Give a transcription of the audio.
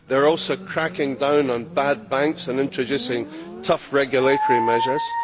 They are also cracking down on bad banks and introducing tough regulatory measures.